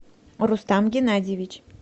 рустам геннадьевич